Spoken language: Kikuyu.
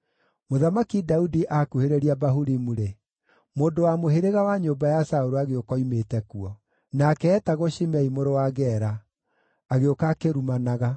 Mũthamaki Daudi aakuhĩrĩria Bahurimu-rĩ, mũndũ wa mũhĩrĩga wa nyũmba ya Saũlũ agĩũka oimĩte kuo. Nake eetagwo Shimei mũrũ wa Gera; agĩũka akĩrumanaga.